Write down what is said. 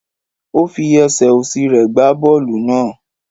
Ó fi esè osi re gba boolu naa